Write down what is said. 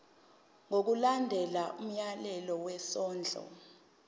ngokulandela umyalelo wesondlo